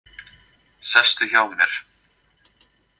Sestu hjá mér.